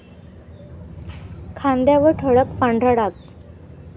खांद्यावर ठळक पांढरा डाग